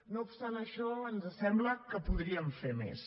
no obstant això ens sembla que podríem fer més